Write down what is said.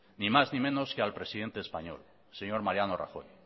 ni más ni menos que al presidente español señor mariano rajoy